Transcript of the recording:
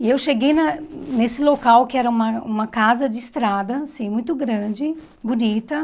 E eu cheguei na nesse local que era uma uma casa de estrada, assim, muito grande, bonita.